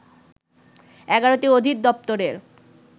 ১১টি অধিদপ্তরের